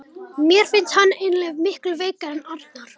Mér finnst hann eiginlega miklu veikari en Arnar.